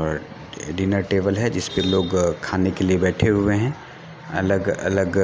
और a dinner table है जिसपे लोग खाने के लिए हुए बेठे हुए है अलग अलग